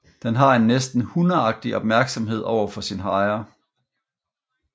Den har en næsten hundeagtig opmærksomhed over for sin ejer